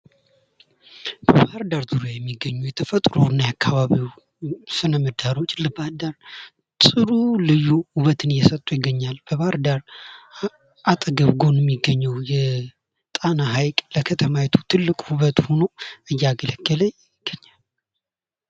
በባህር ዳር ዙሪያ የሚገኙ የተፈጥሮ እና የአካባቢው ስነ ምህዳሮች ለባህር ዳር ጥሩ ልዩ ውበትን እየሰጡ ይገኛሉ ። በባህር ዳር አጠገብ ጎን ሚገኘው የጣና ሀይቅ ለከተማይቱ ትልቅ ውበት ሁኖ እያገለገለ ይገኛል ።